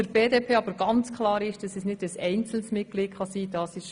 Für die BDP ist hingegen ganz klar, dass es kein einzelnes Gemeinderatsmitglied sein kann.